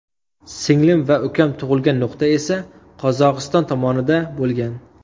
Singlim va ukam tug‘ilgan nuqta esa Qozog‘iston tomonida bo‘lgan.